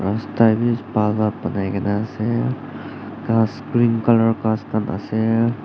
rasta bi bhal pa banai kae na ase aro ghas green colour ghas khan ase.